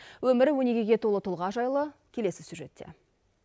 өмірі өнегеге толы тұлға жайлы келесі сюжетте